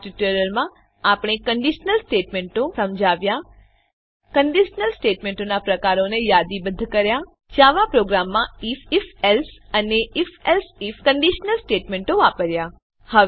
આ ટ્યુટોરીયલમાં આપણે કંડીશનલ સ્ટેટમેંટો સમજાવ્યા કંડીશનલ સ્ટેટમેંટોનાં પ્રકારોને યાદીબદ્ધ કર્યા જાવા પ્રોગ્રામમાં આઇએફ ifએલ્સે અને ifએલ્સે આઇએફ કંડીશનલ સ્ટેટમેંટો વાપર્યા